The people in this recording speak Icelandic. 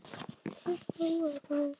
Þetta var rangt.